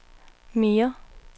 mere